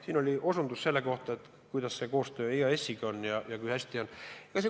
Siin osutati koostööle EAS-iga, et kui hästi sellega on.